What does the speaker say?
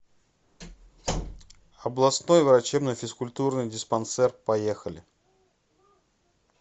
областной врачебно физкультурный диспансер поехали